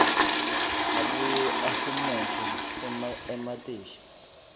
abuye ahumushe ematheksthi